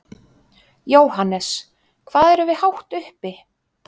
Jóhannes: Hvað erum við hátt uppi?